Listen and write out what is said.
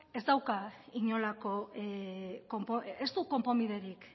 ez du konponbiderik